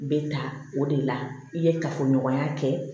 Bɛ ta o de la i ye kafoɲɔgɔnya kɛ